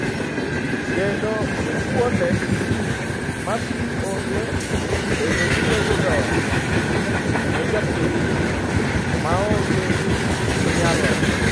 Kendo kuonde ma pi onge bende biro yudo pi ne jopiny maonge ginyalo.